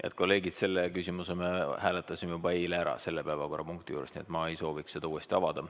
Head kolleegid, seda küsimust me hääletasime juba eile selle päevakorrapunkti juures, nii et ma ei soovi seda uuesti avada.